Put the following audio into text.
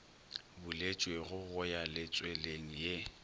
buletšwego go ya letsweleng ye